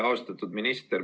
Austatud minister!